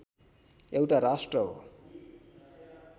एउटा राष्ट्र हो